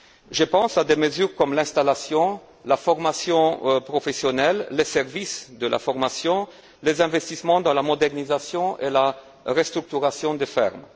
Je pense à des mesures comme l'installation, la formation professionnelle, les services de formation, les investissements dans la modernisation et la restructuration des fermes.